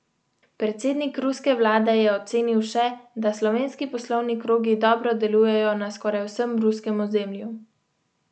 Predsednik ruske vlade je ocenil še, da slovenski poslovni krogi dobro delujejo na skoraj vsem ruskem ozemlju.